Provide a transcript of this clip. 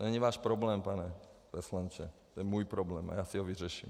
To není váš problém, pane poslanče, to je můj problém a já si ho vyřeším.